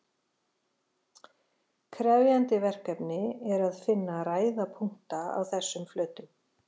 Krefjandi verkefni er að finna ræða punkta á þessum flötum.